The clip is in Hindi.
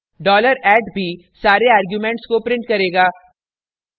$@dollar at भी सारे arguments को print करेगा